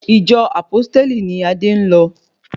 Ìjọ Àpósítélì ni Adé ń lọ